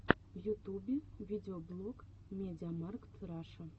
в ютубе видеоблог мидиамаркт раша